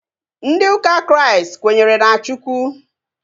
Ndị ụka Kraịst kwenyere na Chukwu